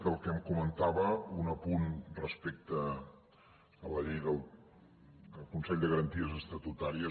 del que em comentava un apunt respecte a la llei del consell de garanties estatutàries